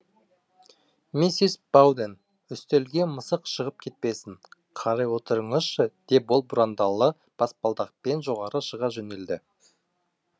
миссис бауден үстелге мысық шығып кетпесін қарай отырыңызшы деп ол бұрандалы баспалдақпен жоғары шыға жөнелді